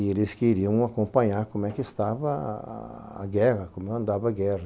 E eles queriam acompanhar como é que estava a a a guerra, como andava a guerra.